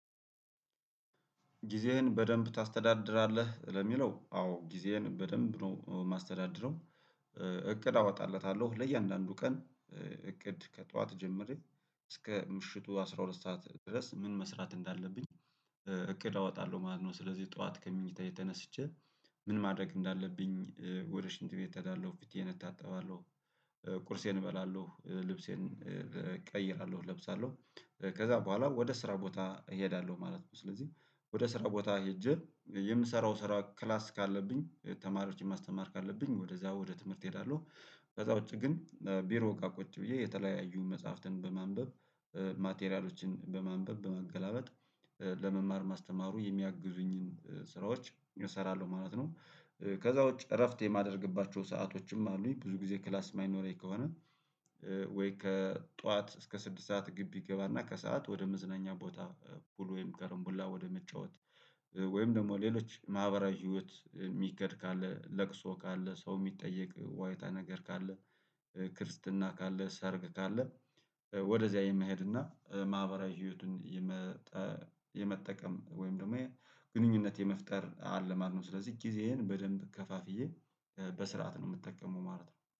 ጊዜህን በደንብ ታስተዳድራለህ ለሚለው አዎ ጊዜህን በደንብ ነው የማስተዳድረው። እቅድ አወጣለታለሁ ለእያንዳንዱ ቀን እቅድ ከጠዋት ጀምሬ እስከ ምሽቱ አስራ ሁለት ሰዓት ድረስ ምን መስራት እንዳለብኝ። እቅድ አወጣለሁ ማለት ነው። ስለዚህ ጠዋት ከምኝታየ ተነስቸ ምን ማድረግ እንዳለብኝ ወደ ሽንት ቤት እታዳለሁ ፊቴን እታጠባለሁ ቁርሴን እበላለሁ ልብሴን እቀይራለሁ እለብሳለሁ ከዛ በኋላ ወደ ስራ ቦታ እሄዳለሁ ማለት ነው። ስለዚህ ወደ ስራ ቦታ ሄጄ የምሰራው ስራ ክላስ ካለብኝ ተማሪዎችን ማስተማር ካለብኝ ወደዛ ወደ ትምህርት እሄዳለሁ ከዛ ውጪ ግን ቢሮ እቃ ቁጭ ብዬ የተለያዩ መጽሐፍትን በማንበብ ማቴሪያሎችን በማንበብ በማገላበጥ በመማር ማስተማሩ የሚያግዙኝን ስራዎች እሰራለሁ ማለት ነው። ከዛ ውጭ እረፍት የማደርግባቸው ሰአቶችም አሉኝ ብዙ ጊዜ ክላስ የማይኖረኝ ከሆነ። ከጧት እስከ ስድስት ሰዓት ግቢ እገባና ከሰአት ወደ መዝናኛ ቦታ ሁሉ ወይም ከረምቡላ ወደ መጫወት ወይም ደግሞ ሌሎች ማህበራዊ ህይወት የሚከድ ካለ ለቅሶ ካለ ሰው የሚጠየቅ ዋይታ ነገር ካለ። ክርስትና ካለ ሰርግ ካለ ወደዚያ የመሄድ እና ማህበራዊ ህይወትን የመጠቀም ወይም ደግሞ ይሄን ግንኙነት የመፍጠር አለ ማለት ነው። ስለዚህ ጊዜዬን በደንብ ከፋፍዬ በስርዓት ነው የምጠቀመው ማለት ነው